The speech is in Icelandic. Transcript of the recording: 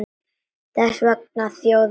Þess vegna þjóð mín!